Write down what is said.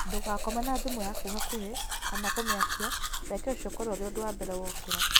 Ndugakome na thĩmu yaku hakuhĩ kana kũmĩakĩa reke ũcĩo ũkorwo ũrĩ undũ wa mbere wokĩra